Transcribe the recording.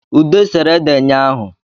Ude sere ede nyahụ